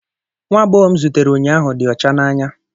Nwa agbọghọ m zutere ụnyahụ dị ọcha n'anya